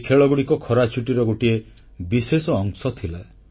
ଏହି ଖେଳଗୁଡ଼ିକ ଖରାଛୁଟିର ଗୋଟିଏ ବିଶେଷ ଅଂଶ ଥିଲା